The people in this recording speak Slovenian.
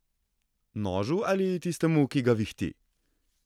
Nožu ali tistemu, ki ga vihti?